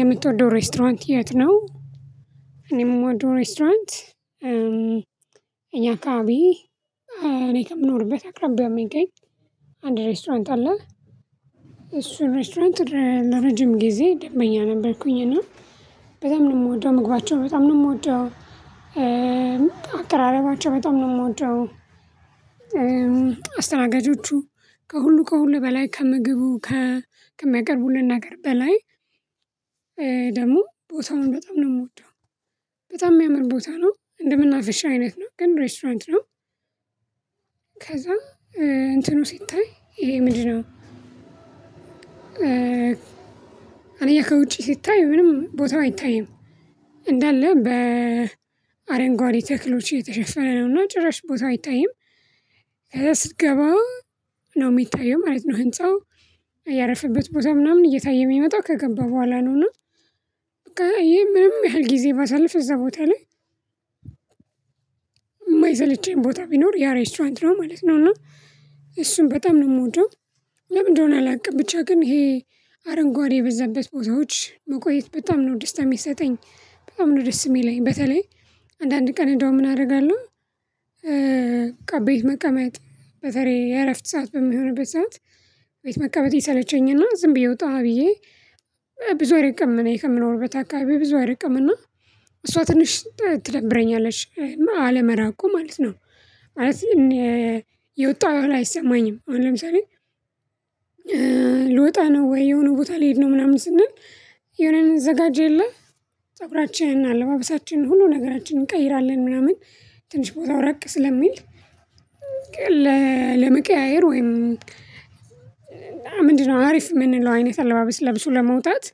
የምትወደው ሬስቶራንት የት ነው? እኔም የምወደው ሬስቶራንት ካቢ እኔ ከምኖርበት አቅራቢያም የሚገኝ አንድ ሬስቶራንት አለ። እሱን ሬስቶራንት ለረጅም ጊዜ ደንበኛ ነበርኩኝ እና በጣም ነው የምወደው። ምግባቸው በጣም ነው የምወደው። ካቢ እኔ ከምኖርበት አቅራቢያም የሚገኝ አንድ ሬስቶራንት አለ። የምወደው አስተናጋጆቹ ከሁሉ ከሁሉ በላይ ከምግቡ ከሚያቀርቡልን ነገር በላይ ደግሞ ቦታውን በጣም ነው የምወደው። በጣም የሚያምር ቦታ ነው። እንደመናፈሻ አይነት ነው ግን ሬስቶራንት ነው። ከዛ እንትኑ ሲታይ ይሄ ምንድነው ከውጪ ስታይ ምንም ቦታው አይታይም። እንዳለ በአረንጓዴ ተክሎች የተሸፈረ ነውና ጭራሽ ቦታ አይታይም። ከዛ ስትገባ ነው የሚታየው ማለት ነው። ህንፃው ያረፈበት ቦታ ምናምን እየታየ የሚመጣው ከገባ በኋላ ነው። እና በቃ ይሄ ምንም ያህል ጊዜ ባሳልፍ እዛ ቦታ ላይ የማይሰለቸኝ ቦታ ቢኖር ያ ሬስቶራንት ነው ማለት ነው። እሱን በጣም ነው የምወደው። ለምንድነው አላውቅም ብቻ ግን ይሄ አረንጓዴ የበዛበት ቦታዎች መቆየት በጣም ነው ደስታ የሚሰጠኝ። በጣም ነው ደስ የሚለኝ። በተለይ አንዳንድ ቀን እዳው ምን አደርጋለሁ? ቀበይ መቀመጥ በተረይ የእረፍት ሰዓት በሚሆንበት ሰዓት ቤት መቀመጥ ይሰለቸኝና ዝም ብዬ ወጣሁ ብዬ ብዙ አይርቅም ከምኖርበት አካአባቢ ብዙ አይርቅምና እሷ ትንሽ ትደብረኛለች አለመራቁ ማለት ነው። ማለት የወጣሁ ያህል አይሰማኝም። አሁን ለምሳሌ ልወጣ ነው ወይ? የሆነ ቦታ ልሄድ ነው። ምናምን ስንል የሆነን እምንዘጋጀው የለም? ፀጉራችቻንን፣ አለባበሳችን፣ ሁሉ ነገራችንን እንቀይራለን። ምናምን ትንሽ ቦታው ራቅ ስለሚል ለመቀያየር ወይም ምንድነው አሪፍ የምንለው አይነት አለባበስ ለብሶ ለመውጣት።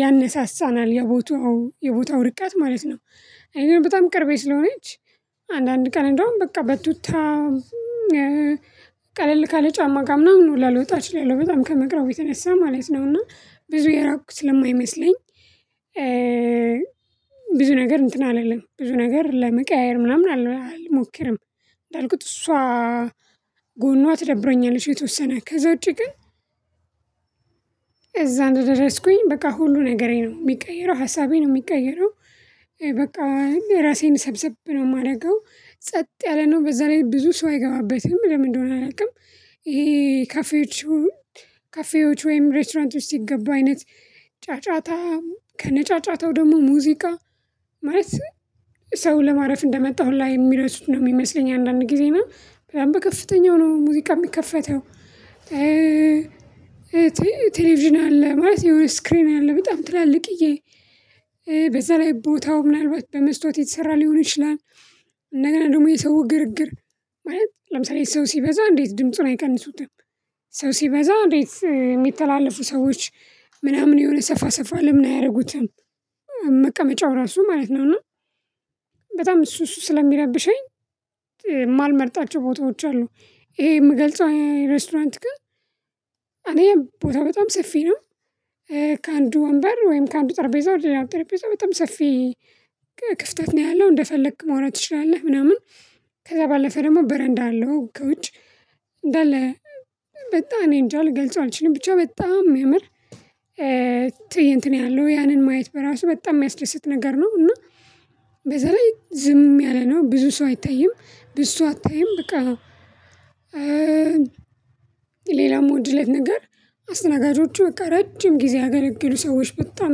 ያነሳሳናል የቦታው የቦታው እርቀት ማለት ነው። አኔ በጣም ቅርቤ ስለሆነች አንዳንድ ቀን እንደውም በቃ በቱታ ቀለል ካለ ጫማ ጋር ምናምን ሁላ ልወጣ እችላለሁ በጣም ከመቅረቡ የተነሳ ማለት ነው። እና ብዙ የራቁኝ ስለማይመስለኝ ብዙ ነገር እንትን አላለም ብዙ ነገር ለመቀያየር ምናምን አልሞክርም። እንዳልኩት እሷ ጎኗ ትደብረኛለች የተወሰነ ከዛ ውጪ ግን እዛ እንደደረስኩኝ በቃ ሁሉ ነገሬ ነው። የሚቀይረው ሀሳቤ ነው የሚቀይረው። በቃ እ እ ራሴን ሰብሰብ ነው የማደርገው። ጸጥ ያለነው በዛ ላይ ብዙ ሰው አይገባበትም። ለምን እንደሆነ አላውቅም። ይሄ ካፌዎቹን ካፌዎች ወይም ሬቶራንቶች ሲገቡ አይነት ጫጫታ ከነጫጫታው ደግሞ ሙዚቃ ማለት ሰው ለማረፍ እንደመጣሁ ላይ የሚረሱት ነው የሚመስለኝ አንዳንድ ጊዜ ነው በላይ ከፍተኛው ነው ሙዚቃ የሚከፈተው ቴሌቪዥን አለ። ማለት የሆነ ስክሪን አለ በጣም ትላልቅዬ በዛ ላይ ቦታው ምናልባት በመስታወት የተሰራ ሊሆን ይችላል እንደገና ደግሞ የሰው ግርግር ማለት ለምሳሌ ሰው ሲበዛ እንዴት ድምጹን አይቀንሱትም ሰው ሲበዛ እንዴት የሚተላለፉ ሰዎች ምናምን የሆነ ሰፋ ሰፋ ለምን አያደርጉትም። መቀመጫው ራሱ ማለት ነው። እና በጣም እሱ እሱ ስለሚረብሸኝ የማልመርጣቸው ቦታዎች አሉ ይሄ የምገልጸው ሬስቶራንት ግን እኔ ቦታ በጣም ሰፊ ነው። ከአንዱ ወንበር ወይም ከአንዱ ጠርጴዛ ወይ ሌላው ጠርጴዛ በጣም ሰፊ ክፍተት ነው ያለው እንደፈለክ መሆን ትችላለህ። ምናምን ከዛ ባለፈ ደግሞ በረንዳ አለው ከውጭ እንዳለ በጣም እኔ እንጃ ልገልጸው አልችልም። ብቻ በጣም የሚያምር ትእይንት ነው ያለው ያንን ማየት በራሱ በጣም የሚያስደስት ነገር ነው። እና በዛ ላይ ዝም ያለ ነው ብዙ ሰው አይታይም ብዙ ሰው አታይም በቃ አዎ! ሌላም ወዲህ ላይ ነገር አስተናጋጆቹ በቃ ረጅም ጊዜ አገልግሎት ሰዎች በጣም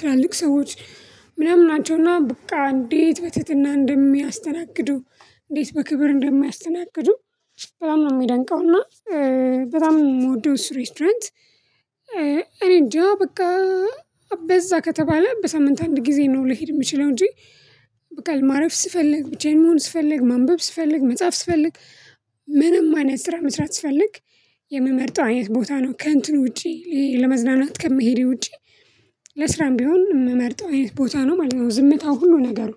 ትላልቅ ሰዎች ምናምን ናቸውና በቃ እንዴት በትህትና እንደሚያስተናግዱ እንዴት በክብር እንደማያስተናግዱ በጣም ነው የሚያደንቀው። እና በጣም ነው የምወደው እሱን ሬስቶራንት እኔ እንጃ በቃ አበዛ ከተባለ በሳምንት አንድ ጊዜ ነው ሊሄድ የሚችለው። እንጂ በቃ ማረፍ ስፈልግ ብቻዬን መሆን ስፈልግ ማንበብ ስፈልግ መጻፍ ስፈልግ ምንም አይነት ስራ መስራት ስፈልግ የምመርጠው አይነት ቦታ ነው። ከእንትን ውጪ ለመዝናናት ከምሄድ ውጪ ለስራም ቢሆን የምመርጠው አይነት ቦታ ነው ማለት ነው። ዝምታው ሁሉ ነገሩ